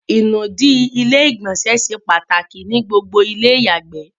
ìnùdí ilé ìgbọ̀nsẹ̀ se pàtàkì ní gbogbo ilé ìyàgbè